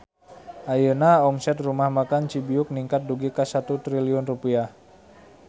Ayeuna omset Rumah Makan Cibiuk ningkat dugi ka 1 triliun rupiah